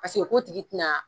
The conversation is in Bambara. Paseke ko tigi ti na